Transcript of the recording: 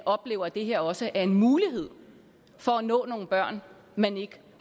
oplever at det her også er en mulighed for at nå nogle børn man ikke